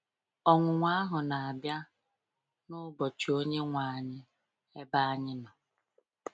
Ọnwụnwa ahụ na-abịa “n’ụbọchị Onyenwe anyị,” ebe anyị nọ.